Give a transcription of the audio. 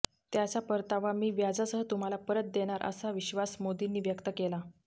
त्याचा परतावा मी व्याजासह तुम्हाला परत देणार असा विश्वास मोदींनी व्यक्त केला